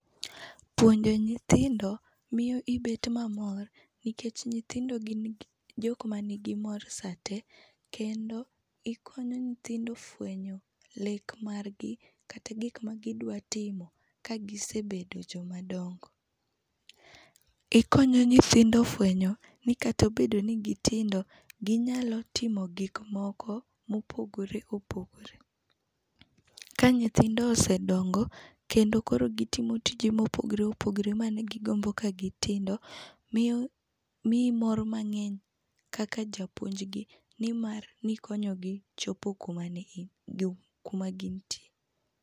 Puonjo nyithindo miyo ibet mamor nikech nythindo gin jokma nigi mor sate kendo ikonyo nyithndo fwenyo lek margi kata gikma gidwa timo ka gisebedo jokma dongo. Ikonyo nyithindo fwenyo ni kata obedo ni gitindo ginyalo timo gik moko ma opogore opogore. Kendo ka nyithindo osedongo kendo koro gitimo tije ma opogore opogore mane gigombo ka gitindo miyo, miyi mor mangeny kaka japuonj gi nimar nikonyogi chopo kuma gintie